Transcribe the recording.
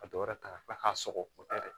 Ka dɔ wɛrɛ ta ka tila k'a sɔgɔ